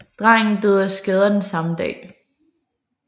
Drengen døde af skaderne samme dag